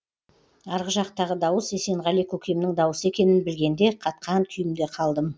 арғы жақтағы дауыс есенғали көкемнің дауысы екенін білгенде қатқан күйімде қалдым